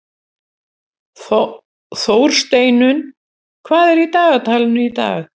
Þórsteinunn, hvað er í dagatalinu í dag?